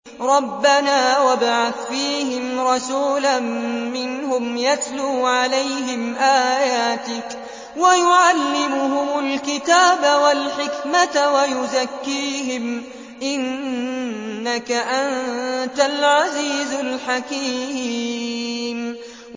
رَبَّنَا وَابْعَثْ فِيهِمْ رَسُولًا مِّنْهُمْ يَتْلُو عَلَيْهِمْ آيَاتِكَ وَيُعَلِّمُهُمُ الْكِتَابَ وَالْحِكْمَةَ وَيُزَكِّيهِمْ ۚ إِنَّكَ أَنتَ الْعَزِيزُ الْحَكِيمُ